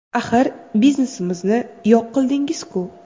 Axir biznesimizni yo‘q qildingizku?